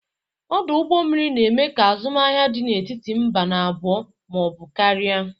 Ọdụ ụgbọ mmiri na-eme ka azụmahịa dị n'etiti mba n'abụọ ma ọ bụ karịa.